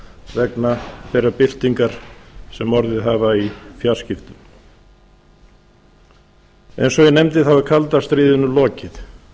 vegna þeirrar byltingar sem orðið hefur í fjarskiptum eins og ég nefndi er kalda stríðinu lokið